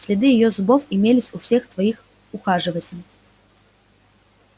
следы её зубов имелись у всех троих ухаживателей